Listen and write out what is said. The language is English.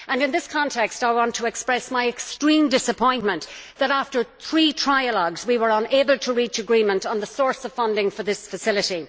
In this context, I want to express my extreme disappointment that after three trialogues, we were unable to reach agreement on the source of funding for this facility.